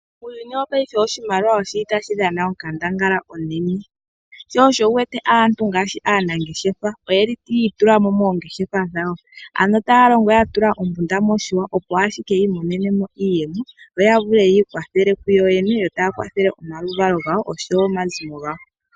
Uuyuni wo paife oshimaliwa oshili tashi dhana onkandangala onene sho osho wuwete aantu ngaashi aanangeshefa oyeli yi tulamo moongeshefa dhawo ano taya longo ya tula ombunda moshihwa opo ashike yi monenemo iiyemo yo ya vule yikwathele ku yoyene yo taya kwathele omaluvalo gawo oshowo omazimo gawo